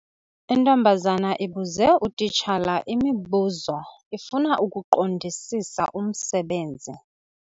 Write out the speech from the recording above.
Intombazana ibuze utitshala imibuzo ifuna ukuqondisisa umsebenzi.